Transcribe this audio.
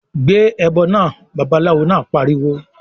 "Gbé ẹbọ náà!", Babaláwo náà pariwo